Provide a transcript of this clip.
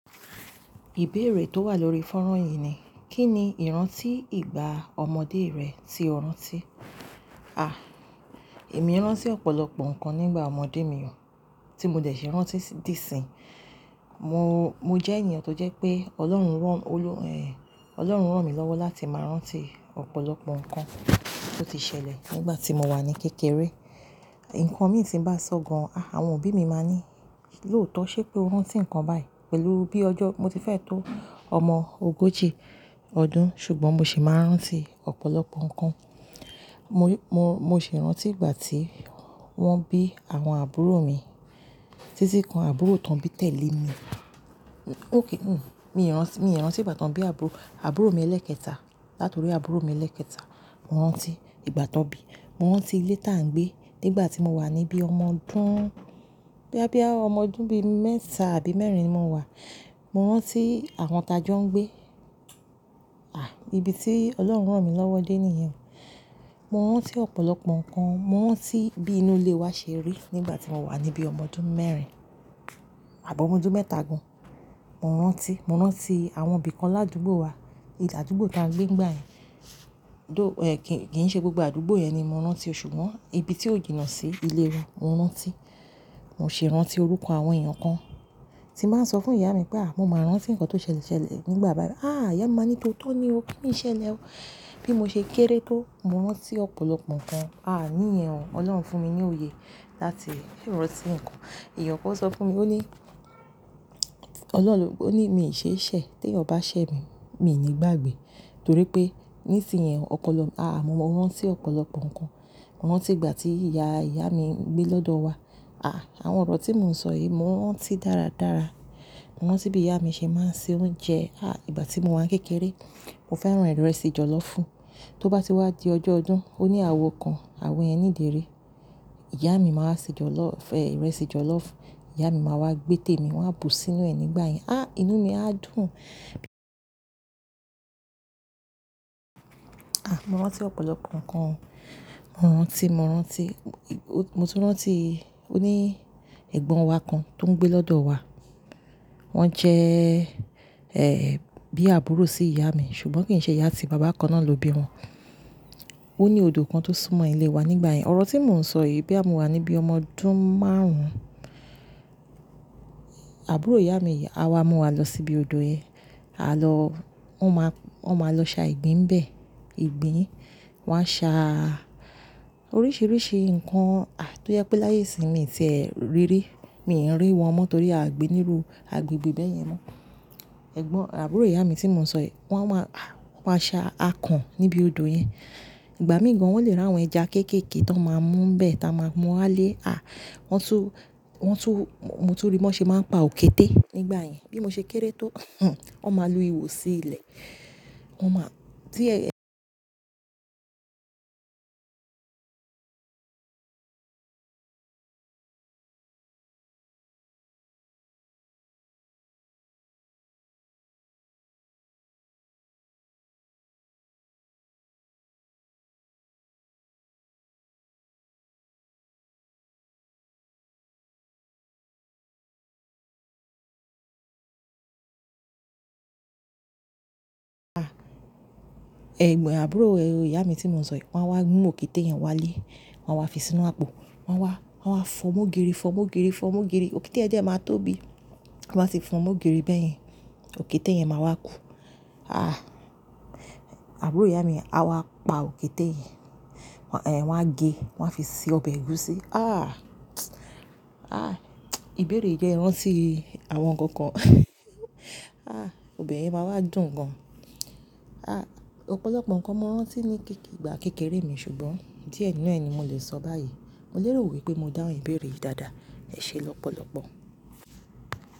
Ìbéèrè tó wà lórí fọ́nrán yìí ni, kí ni ìrántí ìgbà ọmọdé rẹ tí o rántí? À, èmi rántí ọ̀pọ̀lọpọ̀ nǹkan nígbà ọmọdé mi o, tí mo dẹ̀ ṣe rántí di síńyi. Mo, mo jẹ́ ènìyàn tó jẹ́ pé Ọlọ́run rán, olú, ẹ, Ọlọ́run rán mi lọ́wọ́ láti máa rántí ọ̀pọ̀lọpọ̀ nǹkan tó ti ṣẹlẹ̀ nígbà tí mo wà ní kékeré. Ǹkan mi sì ń bá sọ gan, àwọn òbí mi máa ní, lóòótọ́ ṣé pé o rántí nǹkan báyìí pẹ̀lú bí ọjọ́ mo ti fẹ́ tó ọmọ ogójì ọdún ṣùgbọ́n mo sì máa rántí ọ̀pọ̀lọpọ̀ nǹkan. Mo, mo, mo sì rántí ìgbà tí wọ́n bí àwọn àbúrò mi. Títí kan àbúrò tán bí tẹ̀lé mi. Ó kí, hm, mi rántí, mi rántí ìgbà tán bí àbúrò, àbúrò mi ẹlẹ́kẹta. Látòrí àbúrò mi ẹlẹ́kẹta, mo rántí ìgbà tán bí, mo rántí ilé tá ń gbé nígbà tí mo wà níbí ọmọ ọdún, bá bí ọmọ ọdún bí mẹ́ta àbí mẹ́rin ni mo wà. Mo rántí àwọn tajọ́ ń gbé. À, ibi tí Ọlọ́run rán mi lọ́wọ́ dé ni ìyẹn. Mo rántí ọ̀pọ̀lọpọ̀ nǹkan, mo rántí bí inú ilé wa ṣe rí nígbà tí mo wà níbí ọmọ ọdún mẹ́rin àbọ́ ọmọ ọdún mẹ́ta gan. Mo rántí, mo rántí àwọn òbí kan ládùúgbò wa. Ìlú àdúgbò tá ń gbé nígbàyẹn. Though, ẹ, kíì ṣe gbogbo àdúgbò yẹn ni mo rántí ṣùgbọ́n ibi tí ó jìnà sí ilé wa mo rántí. Mo sì rántí orúkọ àwọn èèyàn kan tí màá sọ fún ìyá mi pé, à, mo máa rántí nǹkan tó ṣẹlẹ̀ nígbà bá, à, ìyá mi máa ní, tóótọ́ ni o, kí ni ṣẹlẹ̀ o? Bí mo ṣe kéré tó, mo rántí ọ̀pọ̀lọpọ̀ nǹkan. Ní ìyẹn o, Ọlọ́run fún mi ní òye láti rántí nǹkan. Ìyá ọkọ sọ fún mi, ó ní, Ọlọ́run, ó ní, mi ò ṣe é ṣẹ̀, tí ẹ ò bá ṣẹ̀ mi, mi ò ní gbàgbé. Torí pé nísinyìí ọ̀pọ̀lọpọ̀, à, mo rántí ọ̀pọ̀lọpọ̀ nǹkan. Mo rántí ìgbà tí ìyá, ìyá mi ń gbé lọ́dọ̀ wa. À, àwọn ọ̀rọ̀ tí mò ń sọ yìí, mo rántí dáradára. Mo rántí bí ìyá mi ṣe máa ń ṣe oúnjẹ. À, ìgbà tí mo wà kékeré, mo fẹ́ràn ìrẹsì jọ̀lọ́fùú. Tó bá ti wá di ọjọ́ ọdún, ó ní àwọ̀ kan, àwọ̀ yen ni idèri Ìyá mi máa ṣe jọ̀lọ́, ẹ, ìrẹsì jọ̀lọ́fùú. Ìyá mi máa wá gbé tèmi, wàá bu sínú ẹ nígbàyẹn. À, inú mi á dùn. À, mo rántí ọ̀pọ̀lọpọ̀ nǹkan. Mo rántí, mo rántí, mo tún rántí, ó ní ẹ̀gbọ́n wa kan tó ń gbé lọ́dọ̀ wa. Wọ́n jẹ́, ẹ, bí àbúrò sí ìyá mi ṣùgbọ́n kì í ṣe ìyá tí bàbá kan náà ló bí wọn. Ó ní odò kan tó súnmọ́ ilé wa nígbàyẹn. Ọ̀rọ̀ tí mò ń sọ yìí, bí à mú wà níbí ọmọ ọdún márùn-ún, àbúrò ìyá mi, a wá mú wa lọ síbi odò yẹn. A lọ, wọ́n máa, wọ́n máa lọ sa ìgbín bẹ. Ìgbín, wọ́n á sa oríṣìíríṣìí nǹkan, à, tó yẹ pé láyé ìsinmi tẹ rí rí. Mi ò rí wọn mọ́ torí à gbé nírú agbègbè bẹ́ẹ̀ yẹn mọ́. Ẹ̀gbọ́n, àbúrò ìyá mi tí mò ń sọ yìí, wọ́n wá, wọ́n á sa akàn níbi odò yẹn. Ìgbà míì gan wọ́n lè rán àwọn ẹja kéékèèké tó máa mú bẹ́ẹ̀ tá a máa mú wa lé, à, wọ́n tún, wọ́n tún, mo tún rí wọn ṣe máa ń pa òkété nígbàyẹn. Bí mo ṣe kéré tó,, wọ́n máa lu ihò sí ilẹ̀. Wọ́n máa, tí, ẹ ẹ̀gbọ́n àbúrò, ẹ, ò, ìyá mi tí mò ń sọ yìí, wọ́n á wá mú òkété yẹn wá lé. Wọ́n á wá fi sínú àpò. Wọ́n wá, wọ́n á wá fọ́mọ́gìrì, fọ́mọ́gìrì, fọ́mọ́gìrì. Òkété yẹn jẹ́ máa tóbi. Ti Wọ́n báa ti fọ́mọ́gìrì bẹ́ẹ̀ yẹn. Òkété yẹn máa wá kú. À, àbúrò ìyá mi, a wá pa òkété yẹn. Wọ́n á gé, wọ́n á fi ṣe ọbẹ̀ ẹ̀gúsí. À, à, ìbéèrè jẹ́ rántí àwọn nǹkan kan. Obe yen máa wá dùn gan. Ọ̀pọ̀lọpọ̀ nǹkan mo rántí ní ìgbà kékeré mi ṣùgbọ́n díẹ̀ nínú ẹ ni mo lè sọ báyìí. Mo lérò wípé mo dáhùn ìbéèrè yìí dáadáa. Ẹ ṣe lọ́pọ̀lọpọ̀.